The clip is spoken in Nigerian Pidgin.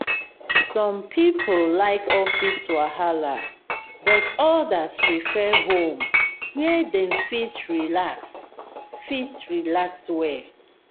some people like office wahala but others prefer home where dem fit relax fit relax well.